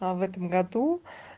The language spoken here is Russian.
а в этом году